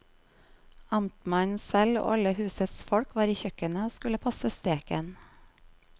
Amtmannen selv og alle husets folk var i kjøkkenet og skulle passe steken.